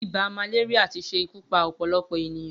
Ibà màléríà ti ṣé ikù pà ọpọlọpọ éniyàn